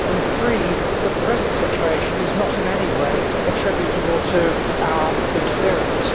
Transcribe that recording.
and three, that the present situation is not in any way attributable to our interference.